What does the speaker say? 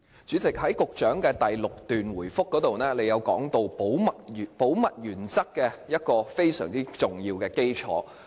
主席，局長在主體答覆第六段提及保密原則其中一項非常重要的基礎。